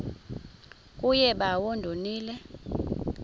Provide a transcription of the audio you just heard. kuye bawo ndonile